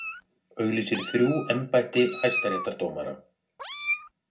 Auglýsir þrjú embætti hæstaréttardómara